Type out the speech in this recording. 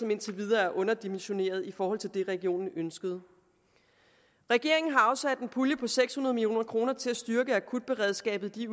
indtil videre er underdimensioneret i forhold til det regionen ønskede regeringen har afsat en pulje på seks hundrede million kroner til at styrke akutberedskabet i